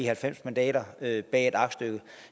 halvfems mandater bag bag et aktstykke